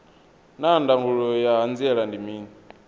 naa ndangulo ya hanziela ndi mini